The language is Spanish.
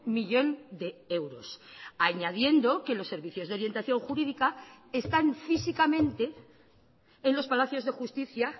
millón de euros añadiendo que los servicios de orientación jurídica están físicamente en los palacios de justicia